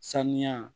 Sanuya